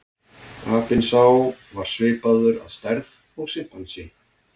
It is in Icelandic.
Apinn sá var svipaður að stærð og simpansi.